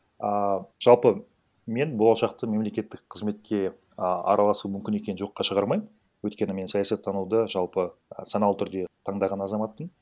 ааа жалпы мен болашақта мемлекеттік қызметке а араласу мүмкін екенін жоққа шығармаймын өйткені мен саясаттануды жалпы санаулы түрде таңдаған азаматпын